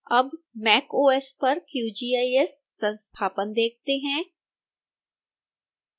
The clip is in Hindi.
अब mac os पर qgis संस्थापन देखते हैं